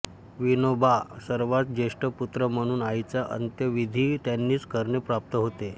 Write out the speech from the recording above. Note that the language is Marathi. विनोबा सर्वांत ज्येष्ठ पुत्र म्हणून आईचा अंत्यविधी त्यांनीच करणे प्राप्त होते